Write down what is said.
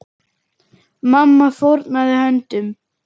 Mamma fórnaði höndum.